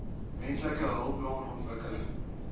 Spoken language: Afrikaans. menslike hulpbron ontwikkeling